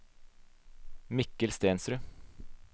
Mikkel Stensrud